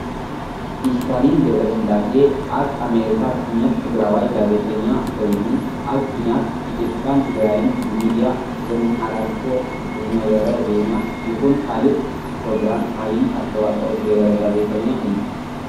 ኢስታሊን ገብረስላሴ ኣብ አሜሪካ ዝቅመጥ ትግራዋይ ጋዜጠኛ ኮይኑ ኣብ ኩናት ኢትዮጵያን ትግራይን ብሚድያ ብዝማሓላልፎ ብዝነበረ ዜና ይኩን ካልእ ፕሮግራም ዓብይ ኣስተዋፅኦ ዝገበረ ጋዜጠኛ እዩ።